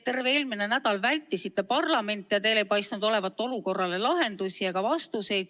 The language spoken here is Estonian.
Terve eelmise nädala vältisite parlamenti ja teil ei paistnud olevat olukorrale lahendusi ega vastuseid.